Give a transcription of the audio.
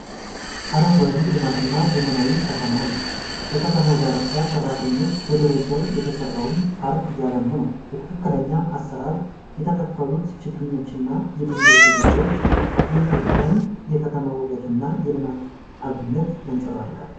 አረንጓዴ ልማትና ዘመናዊ ከተማን ነው። በከተማው ዳርቻ፣ ሰራተኞች በደረጃ የተሰራውን ፓርክ እያለሙ ነው። በትክክለኛ አሰራር የተተከሉት ችግኞችና የድንጋይ ደረጃዎች፣ የኢትዮጵያን የከተማ ውበትና የልማት አብነት ያንጸባርቃል።